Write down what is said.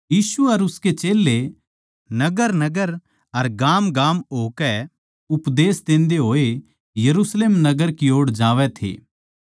यीशु अर उसके चेल्लें नगरनगर अर गामगाम होकै उपदेश देन्दे होए यरुशलेम नगर की ओड़ जावै थे